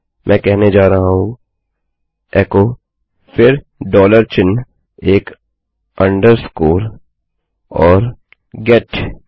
मैं कहने जा रहा हूँ एको फिर डॉलर चिन्हएक अंडरस्कोर अधोरेखा और गेट